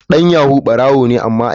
Dan yahoo barawo ne a gida.